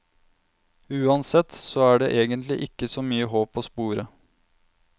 Uansett, så er det egentlig ikke så mye håp å spore.